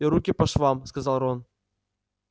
и руки по швам сказал рон